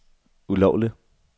ulovligt